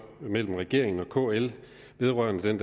mellem regeringen og kl vedrørende den